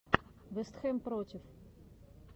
вест хэм против